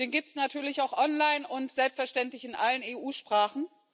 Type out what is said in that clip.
Den gibt es natürlich auch online und selbstverständlich in allen EU Sprachen.